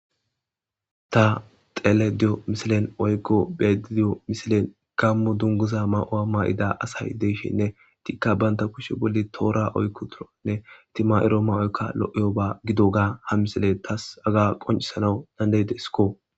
ta xele diyo misilen oykko bedidiyo misilen gammu dunguza ma7o7a ma7ida asay deyshinne tikka baynta kushe bolli toora oykku turonne itima7iro mawoyka lo7iyo ba gido gaa ha misile taas aga qoncisanawu dandey de siko